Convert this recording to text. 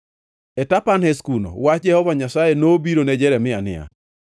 E Tapanhes kuno wach Jehova Nyasaye nobiro ne Jeremia niya: